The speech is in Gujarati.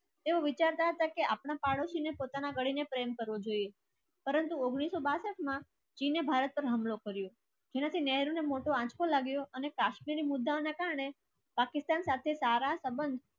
એવું વિચારતા કે આપણા પાડોશીને પોતાના ગણીને પ્રેમ કરવો જોઈએ. પરંતુ ઉંગ્નીસ સો બાસઠ માં જેને ભારત પર હુમલો કર્યો. અને કાશ્મીરી મુદ્દાઓના કારણે પાકિસ્તાન સાથે સારા સંબંધ